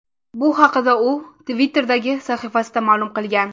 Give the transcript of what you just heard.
Bu haqda u Twitter’dagi sahifasida ma’lum qilgan.